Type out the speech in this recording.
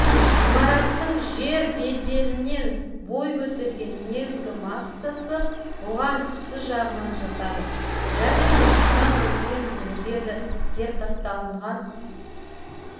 имараттың жер беделінен бой көтерген негізгі массасы оған түсі жағынан жатады және сондықтан онымен бірігеді зертасталынған